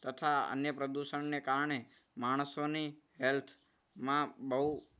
તથા અન્ય પ્રદૂષણને કારણે માણસોની health માં બહુ